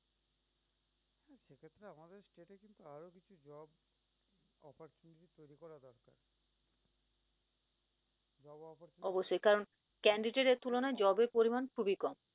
অবশ্যই কারন candidat এর তুলনায় job এর পরিমান খুবি কম